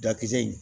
Dakisɛ in